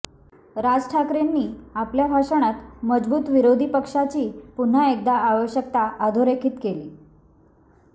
राज ठाकरेंनी आपल्या भाषणात मजबूत विरोधीपक्षाची पुन्हा एकदा आवश्यकता अधोरेखित केली